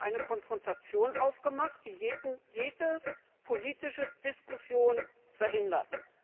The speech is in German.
Sie haben eine Konfrontation aufgemacht, die jede politische Diskussion verhindert.